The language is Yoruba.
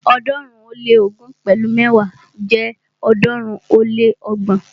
ọ̀ọ́dúnrún ó lé ógún pẹ̀lu mẹ́wa jẹ́ ọ̀ọ́dúnrún ó lé ọgbọ̀n.